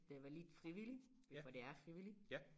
Det var lidt frivilligt for det er frivilligt